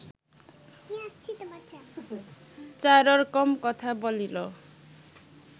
চাররকম কথা বলিল